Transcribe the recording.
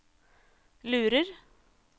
lurer